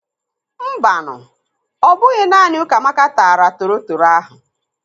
Mbanu, ọ bụghị naanị Ukamaka taara torotoro ahụ.